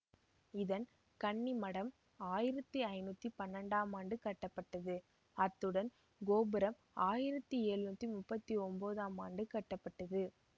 இதன் கன்னிமடம் ஆயிரத்தி ஐநூற்றி பன்னிரெண்டாம் ஆண்டு கட்டப்பட்டது அத்துடன் கோபுரம் ஆயிரத்தி எழுநூற்றி முப்பத்தி ஒம்போதம் ஆண்டு கட்டப்பட்டது